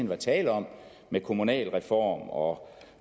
var tale om med kommunalreform og